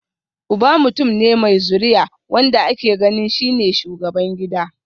Uba mutum ne mai zuriya, wanda ake ganin shi ne shugaban gida